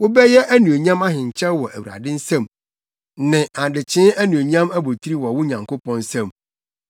Wobɛyɛ anuonyam ahenkyɛw wɔ Awurade nsam, ne adehye anuonyam abotiri wɔ wo Nyankopɔn nsam.